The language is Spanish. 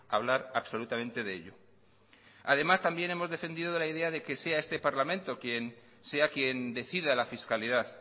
hablar absolutamente de ello además también hemos defendido la idea de que sea este parlamento quien sea quien decida la fiscalidad